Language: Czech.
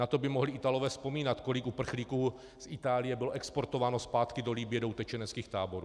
Na to by mohli Italové vzpomínat, kolik uprchlíků z Itálie bylo exportováno zpátky do Libye do utečeneckých táborů.